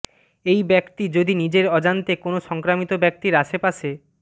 এই ব্যক্তি যদি নিজের অজান্তে কোনও সংক্রমিত ব্যক্তির আশপাশে